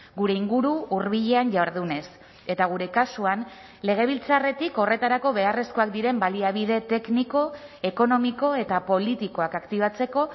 gure inguru hurbilean jardunez eta gure kasuan legebiltzarretik horretarako beharrezkoak diren baliabide tekniko ekonomiko eta politikoak aktibatzeko